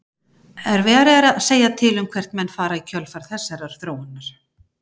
Erfiðara er að segja til um hvert menn fara í kjölfar þessarar þróunar.